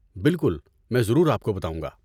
بالکل میں ضرور آپ کو بتاؤں گا۔